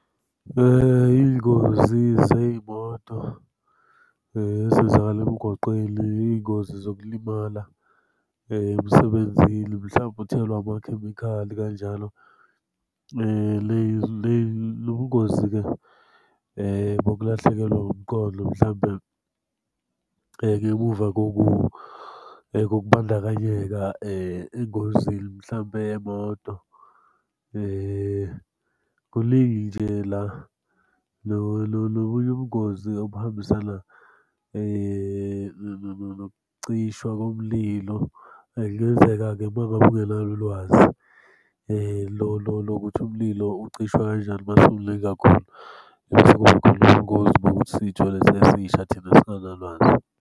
Iy'ngozi zey'moto ezenzakala emgwaqeni, iy'ngozi zokulimala emsebenzini. Mhlampe uthelwe amakhemikhali kanjalo. Lo bungozi-ke bokulahlekelwa umqondo mhlampe ngemuva kokubandakanyeka engozini mhlampe yemoto kuningi nje la. Lo bunye ubungozi obuhambisana nokucishwa komlilo. Kungenzeka-ke uma ngabe ungenalo ulwazi, lolo lokuthi umlilo ucishwa kanjani uma usumningi kakhulu. Mase kuba khona ubungozi bokuthi sithole sesisha thina singanalwazi.